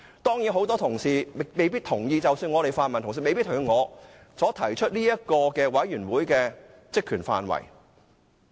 當然很多同事未必同意，即使泛民同事也未必同意我所提出的專責委員會的職權範圍。